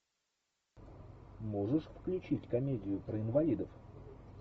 можешь включить комедию про инвалидов